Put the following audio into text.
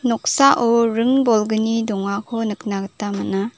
noksao ring bolgni dongako nikna gita man·a.